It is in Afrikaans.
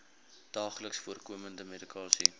daagliks voorkomende medikasie